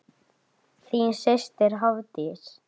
Þín systir, Hafdís.